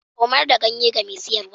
Komar da ganye ga mai siyarwa.